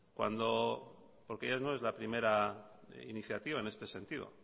porque ya no es la primera iniciativa en este sentido